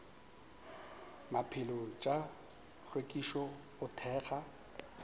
maphelo tša hlwekišo go thekga